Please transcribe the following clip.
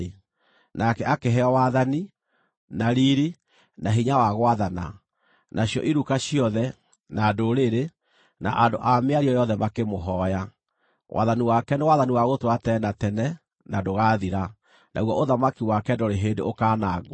Nake akĩheo wathani, na riiri, na hinya wa gwathana; nacio iruka ciothe, na ndũrĩrĩ, na andũ a mĩario yothe makĩmũhooya. Wathani wake nĩ wathani wa gũtũũra tene na tene, na ndũgaathira, naguo ũthamaki wake ndũrĩ hĩndĩ ũkaanangwo.